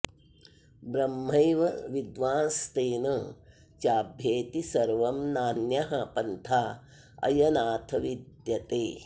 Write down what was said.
ब्रह्मैव विद्वांस्तेन चाभ्येति सर्वं नान्यः पन्था अयनाथ विद्यते